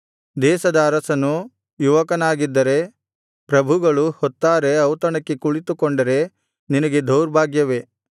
ದೇಶದ ಅರಸನು ಯುವಕನಾಗಿದ್ದರೆ ಪ್ರಭುಗಳು ಹೊತ್ತಾರೆ ಔತಣಕ್ಕೆ ಕುಳಿತುಕೊಂಡರೆ ನಿನಗೆ ದೌರ್ಭಾಗ್ಯವೇ